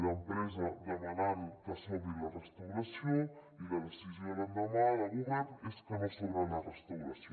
d’empresa demanant que s’obri la restauració i la decisió l’endemà del govern és que no s’obre la restauració